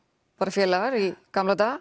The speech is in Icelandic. félagar í gamla daga